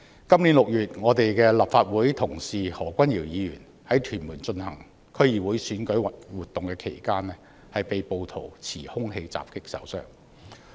本月6日，立法會同事何君堯議員在屯門進行區議會選舉活動期間，被暴徒持兇器襲擊受傷。